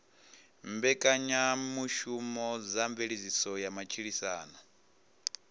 mbekanyamushumo dza mveledziso ya matshilisano